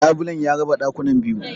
Labulen ya raba ɗakunan biyu.